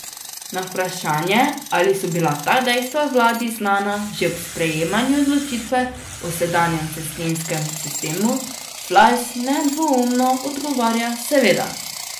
Na vprašanje, ali so bila ta dejstva vladi znana že ob sprejemanju odločitve o sedanjem cestninskem sistemu, Flajs nedvoumno odgovarja: 'Seveda.